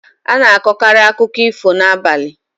A na-akọkarị akụkọ ifo n'abalị.